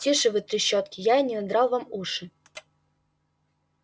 тише вы трещотки я и не надрал вам уши